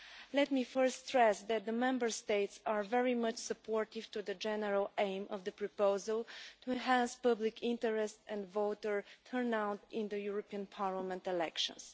Let me first stress that the Member States are very much supportive of the general aim of the proposal to enhance public interest and voter turnout in the European Parliament elections.